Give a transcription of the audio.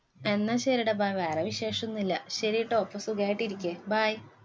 എന്നാ ശരിയെടാ, bye വേറെ വിശേഷൊന്നുമില്ല. ശരീട്ടോ, അപ്പൊ സുഖായിട്ടിരിക്ക് bye